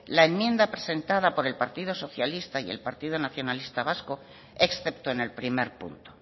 la enmienda presentada por el partido socialista y el partido nacionalista vasco excepto en el primer punto